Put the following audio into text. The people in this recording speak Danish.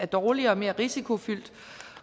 dårligere og mere risikofyldt